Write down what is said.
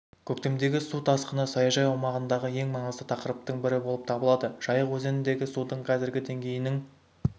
көктемдегі су тасқыны саяжай аумағындағы ең маңызды тақырыптың бірі болып табылады жайық өзеніндегі судың қазіргі деңгейінің